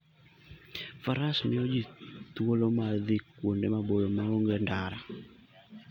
Faras miyo ji thuolo mar dhi kuonde maboyo ma onge ndara.